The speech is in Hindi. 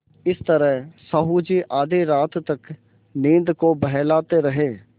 इस तरह साहु जी आधी रात तक नींद को बहलाते रहे